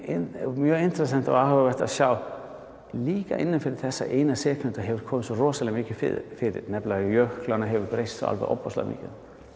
mjög interessant og áhugavert að sjá að líka innan fyrir þessa einu sekúndu hefur komið svo rosalega mikið fyrir nefnilega jöklarnir hafa breyst alveg ofboðslega mikið